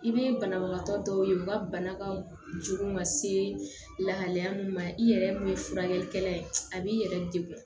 I bɛ banabagatɔ dɔw ye u ka bana ka jugu ka se lahalaya min ma i yɛrɛ min ye furakɛlikɛla ye a b'i yɛrɛ degun